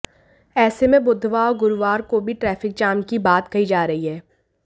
ऐसे में बुधवार और गुरुवार को भी ट्रैफिक जाम की बात कही जा रही है